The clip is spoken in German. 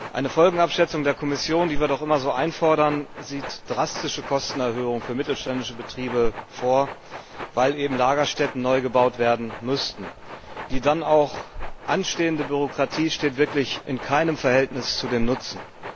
Eine Folgenabschätzung der Kommission, die wir doch immer so einfordern, sieht drastische Kostenerhöhungen für mittelständische Betriebe vor, weil eben Lagerstätten neu gebaut werden müssten. Die dann auch anstehende Bürokratie steht wirklich in keinem Verhältnis zum Nutzen.